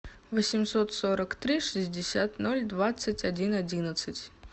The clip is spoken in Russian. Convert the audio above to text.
восемьсот сорок три шестьдесят ноль двадцать один одиннадцать